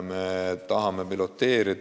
Me tahame piloteerida.